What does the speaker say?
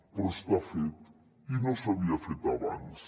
però està fet i no s’havia fet abans